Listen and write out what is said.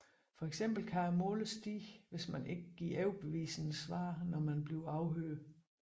For eksempel kan måleren stige hvis man ikke giver overbevisende svar når man bliver afhørt